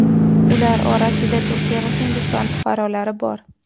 Ular orasida Turkiya va Hindiston fuqarolari bor.